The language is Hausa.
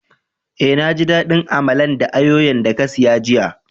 Eh, na ji dadin Amalan da ayoyo'n da ka siya jiya.